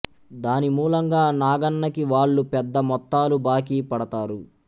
దాని మూలంగా నాగన్నకి వాళ్లు పెద్ద మొత్తాలు బాకీ పడతారు